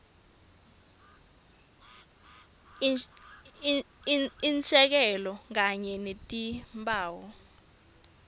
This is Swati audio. insheko kanye netimphawu